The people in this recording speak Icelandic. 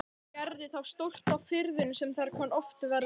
Gerði þá stórt á firðinum sem þar kann oft verða.